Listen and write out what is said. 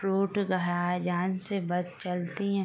से बस चलती हैं।